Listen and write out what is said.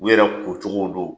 U yɛrɛ ko cogow don